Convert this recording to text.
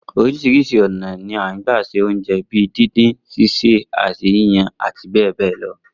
Oríṣiríṣi ọ̀nà ni a ń gbà se oúnjẹ bi díndín, ṣíṣè àti yíyan àti bẹ́ẹ̀ bẹ́ẹ̀ lọ